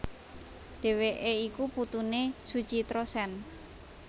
Dheweké iku putuné Suchitra Sen